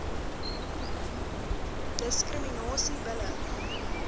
diskriminasie bil lik